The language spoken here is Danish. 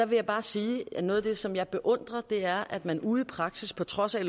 vil bare sige at noget af det som jeg beundrer er at man ude i praksis på trods af at